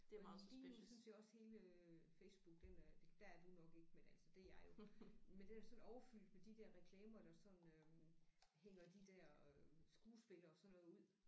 Lige nu synes jeg også hele Facebook den øh der er du nok ikke men altså det er jeg jo men den er sådan overfyldt med de der reklamer der sådan øh hænger de der øh skuespillere og sådan noget ud